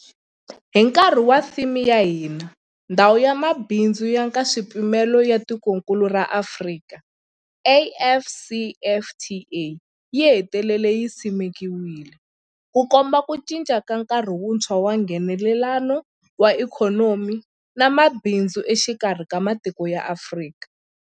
Hi nkarhi wa theme ya hina, Ndhawu ya Mabindzu ya Nkaswipimelo ya Tikokulu ra Afrika, AfCFTA, yi hetelele yi simekiwile, Ku komba ku cinca ka nkarhi wuntshwa wa Nghenelelano wa ikhonomi na mabindzu exikarhi ka matiko ya Afrika.